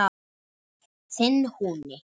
Þinn Húni.